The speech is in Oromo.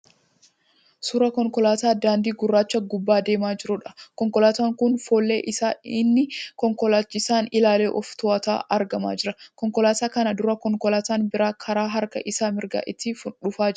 Suuraa konkolaataa daandii gurraacha gubbaa deemaa jiruudha. Konkolaataan kun fuulleen isaa inni konkolaachisaan ilaalee ofi to'atu argamaa jira. Konkolaataa kana dura konkolaaataan biraa karaa harka isaa mirgaan itti dhufaa jira.